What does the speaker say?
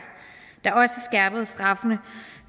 der også skærpede straffene